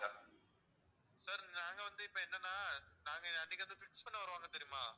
sir நாங்க வந்து இப்போ என்னன்னா நாங்க அன்னைக்கு fix பண்ண வருவாங்க தெரியுமா.